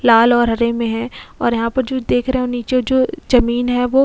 लाल और हरे में है और यहां पर जो देख रहे हो नीचे जो जमीन है वो --